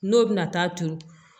N'o bɛna taa turu